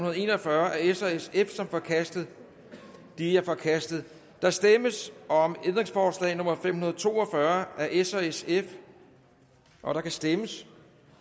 og en og fyrre af s og sf som forkastet de er forkastet der stemmes om ændringsforslag nummer fem hundrede og to og fyrre af s og sf der kan stemmes